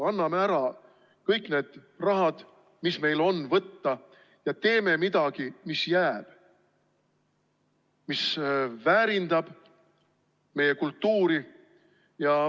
Anname ära kõik need rahad, mis meil on võtta, ja teeme midagi, mis jääb, mis väärindab meie kultuuri.